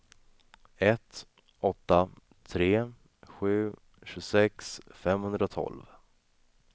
ett åtta tre sju tjugosex femhundratolv